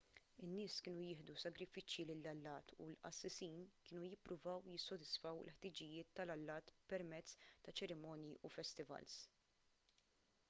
in-nies kienu jieħdu sagrifiċċji lill-allat u l-qassisin kienu jippruvaw jissodisfaw il-ħtiġijiet tal-allat permezz ta' ċerimonji u festivals